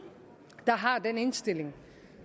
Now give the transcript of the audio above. der har den indstilling